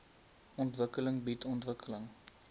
ontwikkeling bied ontwikkeling